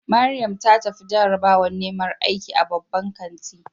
Mariam ta tafi jarabawar neman aiki a babban kanti.